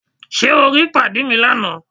Ṣé o rí pàdí mi lánàá?